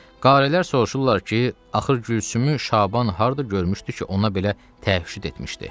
Qarilər soruşurlar ki, axır Gülsümü Şaban harda görmüşdü ki, ona belə təhüşüd etmişdi.